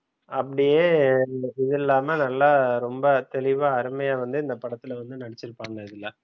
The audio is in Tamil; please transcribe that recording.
அப்படியே இது இல்லாம நல்லா ரொம்ப தெளிவா அருமையா வந்து இந்த படத்துல வந்து நடிச்சிருப்பாங்க இதுல